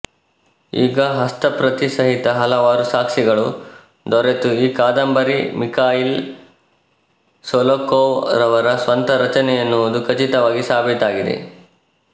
ಈಗ ಹಸ್ತಪ್ರತಿ ಸಹಿತ ಹಲವಾರು ಸಾಕ್ಷಿಗಳು ದೊರೆತು ಈ ಕಾದಂಬರಿ ಮಿಖಾಯಿಲ್ ಶೊಲೊಖೋವ್ ರವರ ಸ್ವಂತ ರಚನೆಯೆನ್ನುವುದು ಖಚಿತವಾಗಿ ಸಾಬೀತಾಗಿದೆ